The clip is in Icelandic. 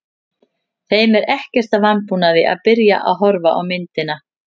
Þeim er ekkert að vanbúnaði að byrja að horfa á myndina.